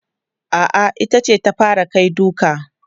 A'a, ita ce ta fara kai duka.